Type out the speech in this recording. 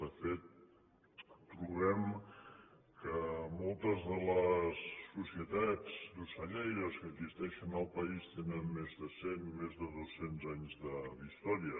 de fet trobem que moltes de les societats d’ocellaires que existeixen al país tenen més de cent més de dos cents anys d’història